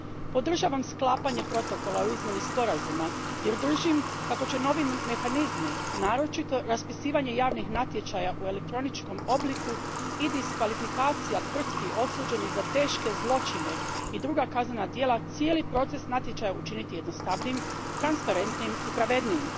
Podržavam sklapanje Protokola o izmjeni Sporazuma jer držim kako će novi mehanizmi, naročito raspisivanje javnih natječaja u elektroničkom obliku i diskvalifikacija tvrtki osuđenih za teške zločine i druga kaznena djela, cijeli proces natječaja učiniti jednostavnijim, transparentnijim i pravednijim.